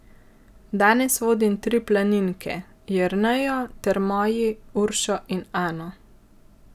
Danes vodim tri planinke, Jernejo ter moji Uršo in Ano.